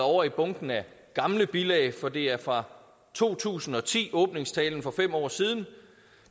ovre i bunken af gamle bilag for det er fra to tusind og ti åbningstalen for fem år siden